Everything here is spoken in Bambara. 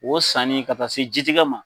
O sanni ka taa se ji tigɛ ma